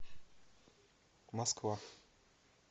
москва